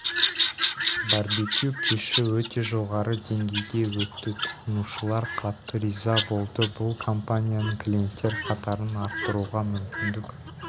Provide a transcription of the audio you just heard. барбекю кеші өте жоғары деңгейде өтті тұтынушылар қатты риза болды бұл компанияның клиенттер қатарын арттыруға мүмкіндік